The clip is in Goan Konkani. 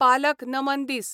पालक नमन दीस